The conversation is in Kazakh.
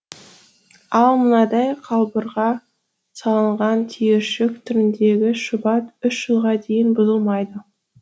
ал мынадай қалбырға салынған түйіршік түріндегі шұбат үш жылға дейін бұзылмайды